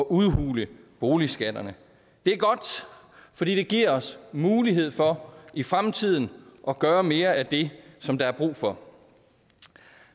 udhule boligskatterne det er godt fordi det giver os mulighed for i fremtiden at gøre mere af det som der er brug for